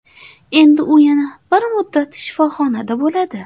endi u yana bir muddat shifoxonada bo‘ladi.